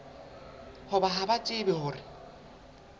hore ha ba tsebe hore